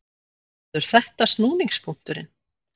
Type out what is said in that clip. Verður þetta snúningspunkturinn?